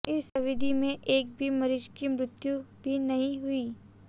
इस अवधि में एक भी मरीज की मृत्यु भी नहीं हुई